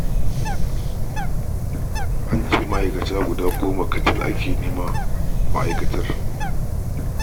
An ce ma'aikata guda goma kacal ake da buƙata a ma'aikatar